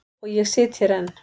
Og ég sit hér enn.